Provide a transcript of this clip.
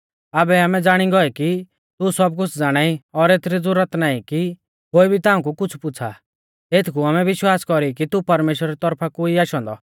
आबै आमै ज़ाणी गौऐ कि तू सब कुछ़ ज़ाणाई और एथरी ज़ुरत नाईं कि कोई भी ताऊं कु कुछ़ पुछ़ा एथकु आमै विश्वास कौरी कि तू परमेश्‍वरा री तौरफा कु ई आशौ औन्दौ